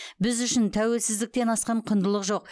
біз үшін тәуелсіздіктен асқан құндылық жоқ